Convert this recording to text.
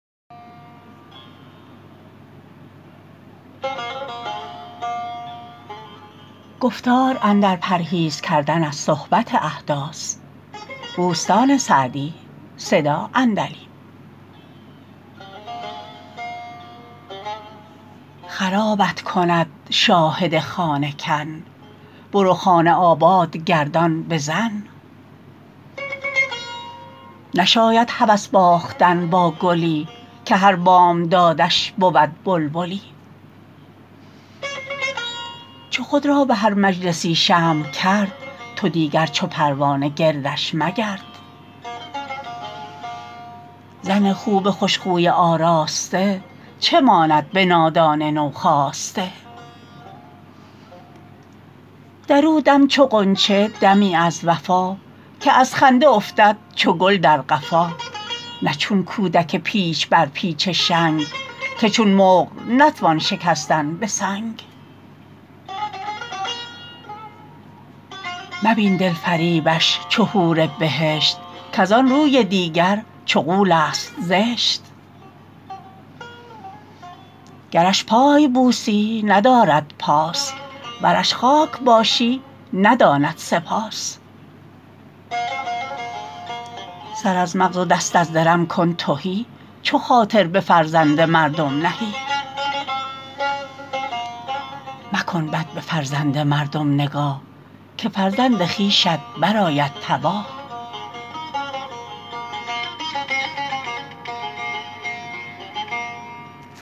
خرابت کند شاهد خانه کن برو خانه آباد گردان به زن نشاید هوس باختن با گلی که هر بامدادش بود بلبلی چو خود را به هر مجلسی شمع کرد تو دیگر چو پروانه گردش مگرد زن خوب خوش خوی آراسته چه ماند به نادان نو خاسته در او دم چو غنچه دمی از وفا که از خنده افتد چو گل در قفا نه چون کودک پیچ بر پیچ شنگ که چون مقل نتوان شکستن به سنگ مبین دلفریبش چو حور بهشت کز آن روی دیگر چو غول است زشت گرش پای بوسی نداردت پاس ورش خاک باشی نداند سپاس سر از مغز و دست از درم کن تهی چو خاطر به فرزند مردم نهی مکن بد به فرزند مردم نگاه که فرزند خویشت برآید تباه